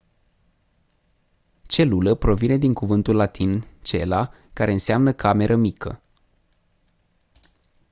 celulă provine din cuvântul latin cella care înseamnă cameră mică